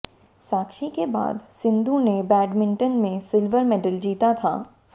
साक्षी के बाद सिंधु ने बैडमिंटन में सिल्वर मेडल जीता था